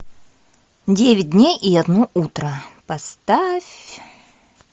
девять дней и одно утро поставь